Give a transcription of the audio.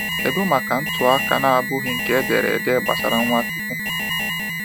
kedụ maka ntụaka na abụghị nke ederede gbasara Nwachukwu?